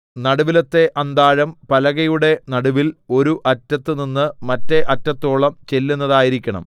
നടുവിലത്തെ അന്താഴം പലകയുടെ നടുവിൽ ഒരു അറ്റത്തുനിന്ന് മറ്റെ അറ്റത്തോളം ചെല്ലുന്നതായിരിക്കണം